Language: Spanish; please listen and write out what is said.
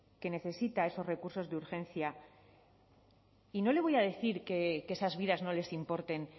que necesita esos recursos de urgencia y no le voy a decir que esas vidas no les importen